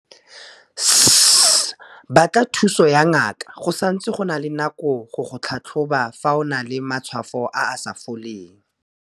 S, Batla thuso ya ngaka go santse go na le nako go go tlhatlhoba fa o na le matshwao a a sa foleng.